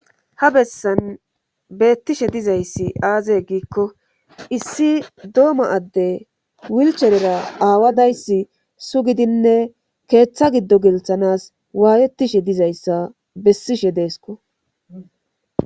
Ha bessan beettishe dizayssi aaze giikko issi dooma adde wilcherera aawadayssi sugidinne keeththa giddo gilthanas waayetishe dizayssa bessishe deesko.